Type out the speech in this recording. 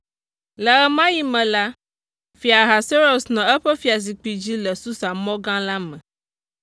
Le ɣe ma ɣi me la, Fia Ahasuerus nɔ eƒe fiazikpui dzi le Susa mɔ gã la me.